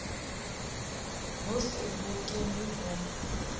ho se ho kenwe ho